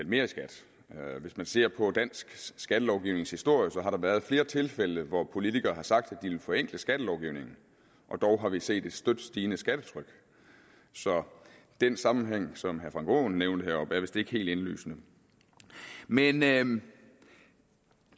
mere i skat hvis man ser på dansk skattelovgivnings historie kan har været flere tilfælde hvor politikere har sagt at de ville forenkle skattelovgivningen og dog har vi set et støt stigende skattetryk så den sammenhæng som herre frank aaen nævnte heroppe er vist ikke helt indlysende men men